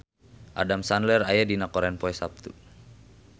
Adam Sandler aya dina koran poe Saptu